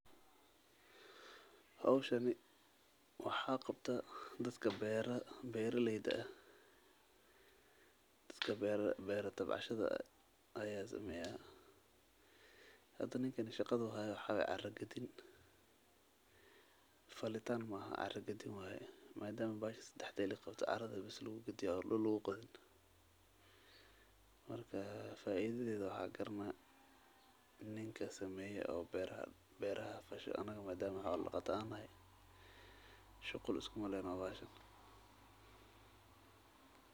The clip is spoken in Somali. Hawshani waxaa qabta dadka beera, beerileyda ah. Dadka beera, beeri tabcashada ayaa sameya. hada ninkan shaqadu haya wax waeey carra gadiin. Falitaan ma ahaa carra gadiin way. Maadaama baashi sidaxda illi qabto carrada bis luugu gadiyo oo dul luuqadin. Markaa faaiideyda waxaa karana ninkaa sameeya oo beeraha, beeraha fashil. Anagoo maadaama xoola da qataan hay shukul isku malin oo baashan.